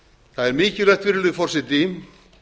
það er mikilvægt virðulegi forseti